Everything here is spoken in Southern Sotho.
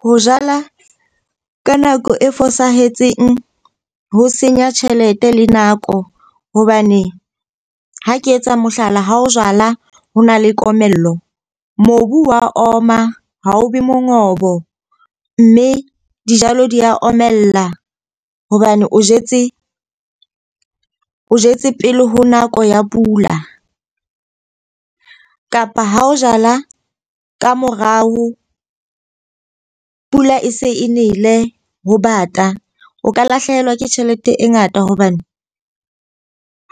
Ho jala ka nako e fosahetseng ho senya tjhelete le nako. Hobane ha ke etsa mohlala, ha ho jala, ho na le komello. Mobu wa oma ha o be mongobo, mme dijalo di a omella. Hobane o jetse pele ho nako ya pula kapa ha o jala ka morao pula e se e nele ho bata, o ka lahlehelwa ke tjhelete e ngata. Hobane